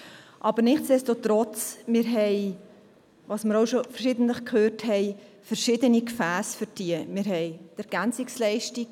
Aber nichtsdestotrotz: Für diese haben wir verschiedene Gefässe, wie wir auch schon verschiedentlich gehört haben.